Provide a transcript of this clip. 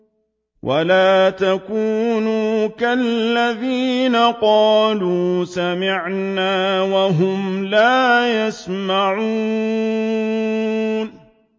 وَلَا تَكُونُوا كَالَّذِينَ قَالُوا سَمِعْنَا وَهُمْ لَا يَسْمَعُونَ